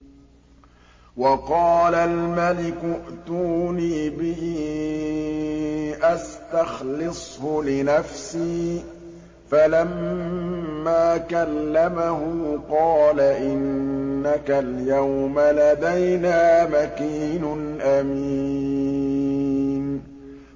وَقَالَ الْمَلِكُ ائْتُونِي بِهِ أَسْتَخْلِصْهُ لِنَفْسِي ۖ فَلَمَّا كَلَّمَهُ قَالَ إِنَّكَ الْيَوْمَ لَدَيْنَا مَكِينٌ أَمِينٌ